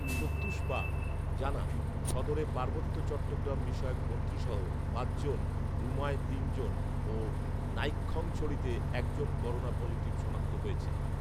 প্রত্যুষ পাল জানান, সদরে পার্বত্য চট্টগ্রাম বিষয়ক মন্ত্রীসহ পাঁচজন, রুমায় তিনজন ও নাইক্ষ্যংছড়িতে একজন করোনা পজিটিভ শনাক্ত হয়েছে